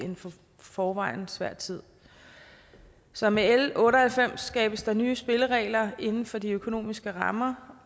forvejen svær tid så med l otte og halvfems skabes der nye spilleregler inden for de økonomiske rammer